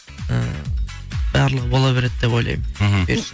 ы барлығы бола береді деп ойлаймын мхм бұйырса